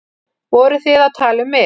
Voruð þið að tala um mig?